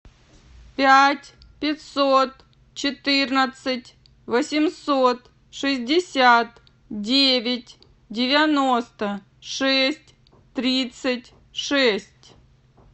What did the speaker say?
пять пятьсот четырнадцать восемьсот шестьдесят девять девяносто шесть тридцать шесть